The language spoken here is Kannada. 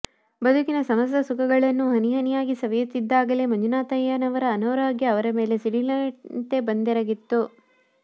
ಬದುಕಿನ ಸಮಸ್ತ ಸುಖಗಳನ್ನೂ ಹನಿಹನಿಯಾಗಿ ಸವಿಯುತ್ತಿದ್ದಾಗಲೇ ಮಂಜುನಾಥಯ್ಯನವರ ಅನಾರೋಗ್ಯ ಅವರ ಮೇಲೆ ಸಿಡಿಲಿನಂತೆ ಬಂದೆರಗಿತ್ತು